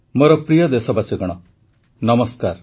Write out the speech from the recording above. ମୋର ପ୍ରିୟ ଦେଶବାସୀଗଣ ନମସ୍କାର